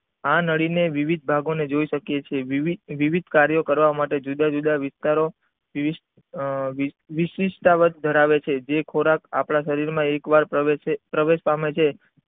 આ નળી ને વિવિધ ભાગો ને જોઈ શકીયે છીએ વિવિધ કર્યો કરવા માટે જુદા જુદા વિસ્તારો આ વિસ વિસ ના વર્ગ ધરાવે છે જે ખોરાક આપણા શરીર માં એક વાર પ્રવેશે પ્રવેશતા માં છે.